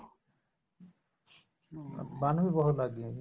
ਹਮ ਬਣਨ ਵੀ ਬਹੁਤ ਲੱਗ ਗਈਆਂ ਜੀ